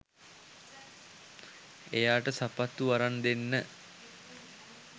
එයාට සපත්තු අරන් දෙන්න